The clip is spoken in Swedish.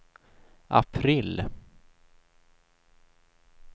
april